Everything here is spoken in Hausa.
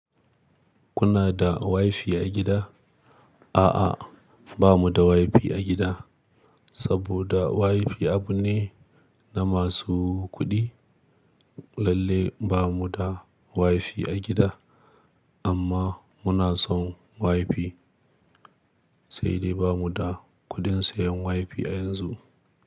Kuna da WiFi a gida? A'a, ba mu da WiFi a gida, saboda WiFi abu ne na masu kuɗi. Lalle ba mu da WiFi a gida, amma muna son WiFi. Sai dai ba mu da kuɗin sayan WiFi a yanzu.